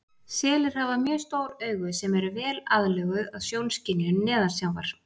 Selir hafa mjög stór augu sem eru vel aðlöguð að sjónskynjun neðansjávar.